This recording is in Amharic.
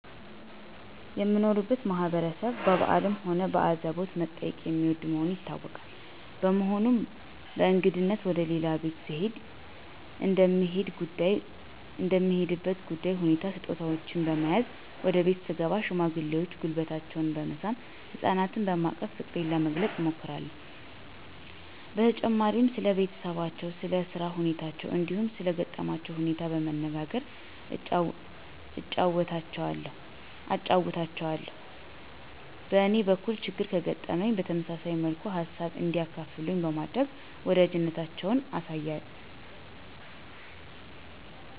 የምኖርበት ማህበረሰብ በበአልም ሆነ በአዘቦት መጠያየቅን የሚወድ መሆኑ ይታወቃል። በመሆኑም በእንግድነት ወደ ሌላ ቤት ስሄድ እንደምሄድበት ጉዳይ ሁኔታ ስጦታወችን በመያዝ ወደ ቤት ስገባ ሽማግሌዎችን ጉልበታቸውን በመሳም፣ ህጻናትና በማቀፍ ፍቅሬን ለመግለጽ እሞክራለሁ። በተጨማሪም ስለ ቤተሰባቸው፣ ስለ ስራ ሁኔታቸው እንዲሁም ሰለ ገጠማቸው ሁኔታ በመነጋገር አጫዉታቸዋለሁ። በእኔም በኩል ችግር ከገጠመኝ በተመሳሳይ መልኩ ሃሳብ እንዲያካፍሉኝ በማድረግ ወዳጅነታችንን አሳያለሁ።